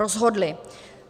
Rozhodli.